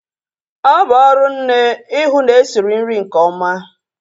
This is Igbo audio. Ọ bụ ọrụ nne ihu na-esiri nri nke ọma